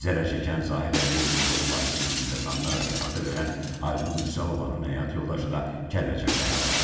Zərərçəkən Zahir Əliyevin hüquqi varisi qismində tanınaraq ifadə verən Aynur Mürsəlovanın həyat yoldaşı da Kəlbəcərdə həlak olub.